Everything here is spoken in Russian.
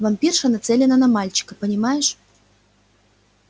вампирша нацелена на мальчика понимаешь